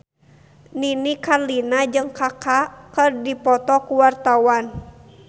Nini Carlina jeung Kaka keur dipoto ku wartawan